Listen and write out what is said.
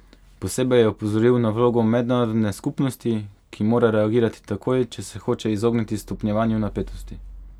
Posebej je opozoril na vlogo mednarodne skupnosti, ki mora reagirati takoj, če se hoče izogniti stopnjevanju napetosti.